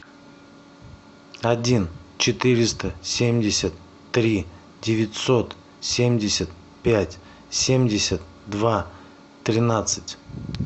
один четыреста семьдесят три девятьсот семьдесят пять семьдесят два тринадцать